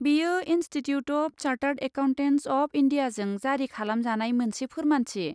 बेयो institute of chartered accountants of इन्डियाजों जारि खालामजानाय मोनसे फोरमानथि।